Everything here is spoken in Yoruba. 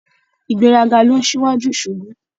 Ìgbéraga ló n síwájú ìṣubú